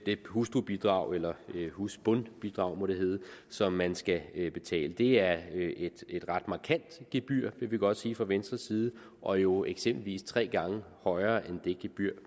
hustrubidrag eller husbondbidrag må det hedde som man skal betale det er et ret markant gebyr det kan vi godt sige fra venstres side og jo eksempelvis tre gange højere end det gebyr